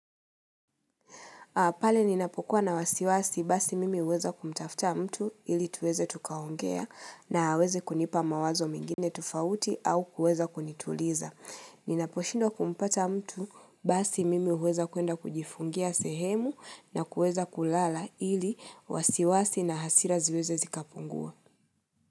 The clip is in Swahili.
Pale ninapokuwa na wasiwasi basi mimi huweza kumtafta mtu ili tuweze tukaongea na aweze kunipa mawazo mengine tofauti au kuweza kunituliza. Ninapo shindwa kumpata mtu basi mimi huweza kuenda kujifungia sehemu na kuweza kulala ili wasiwasi na hasira ziweze zikapungua.